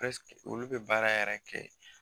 olu be baara yɛrɛ kɛ